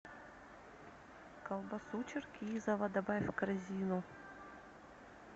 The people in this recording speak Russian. колбасу черкизово добавь в корзину